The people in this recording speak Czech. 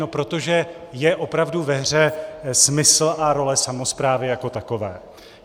No protože je opravdu ve hře smysl a role samosprávy jako takové.